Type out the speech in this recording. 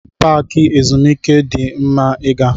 Paaki ezumike di mma ị gaa.